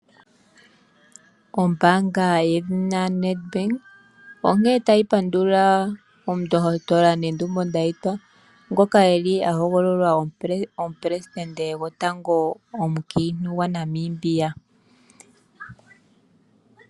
Ombaanga yedhina Nedbank onkene tayi pandula Omundohotola Netumbo Ndaitwah, ngoka e li a hogololwa omuprestende gwotango omukiintu gwaNamibia.